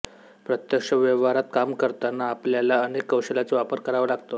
प्रत्यक्ष व्यवहारात काम करताना आपल्याला अनेक कौशल्याचा वापर करावा लागतो